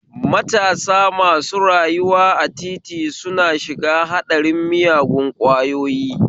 Matasa masu rayuwa a titi suna shiga haɗarin miyagun kwayoyi